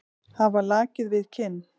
Hafa lakið við kinn.